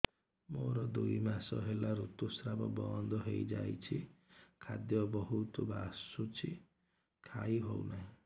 ମୋର ଦୁଇ ମାସ ହେଲା ଋତୁ ସ୍ରାବ ବନ୍ଦ ହେଇଯାଇଛି ଖାଦ୍ୟ ବହୁତ ବାସୁଛି ଖାଇ ହଉ ନାହିଁ